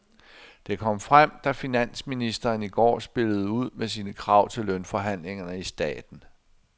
Det kom frem, da finansministeren i går spillede ud med sine krav til lønforhandlingerne i staten.